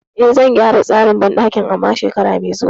E, zan gyara tsarin banɗakin amma shekara mai zuwa.